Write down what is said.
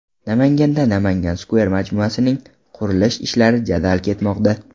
Namanganda Namangan Square majmuasining qurilish ishlari jadal ketmoqda.